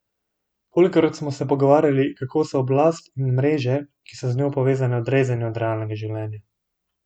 Kolikokrat smo se pogovarjali, kako so oblast in mreže, ki so z njo povezane, odrezani od realnega življenja?